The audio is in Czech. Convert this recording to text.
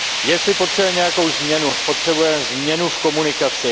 Jestli potřebujeme nějakou změnu, potřebujeme změnu v komunikaci.